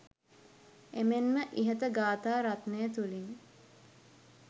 එමෙන්ම ඉහත ගාථා රත්නය තුළින්